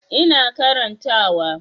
Ina karanta wa